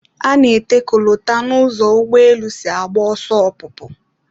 A na-ete kolota n'ụzọ ụgbọelu si agba ọsọ ọpụpụ